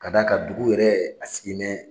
Ka d'a kan dugu yɛrɛ a sigilen bɛ